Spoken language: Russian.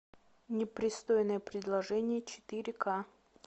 непристойное предложение четыре ка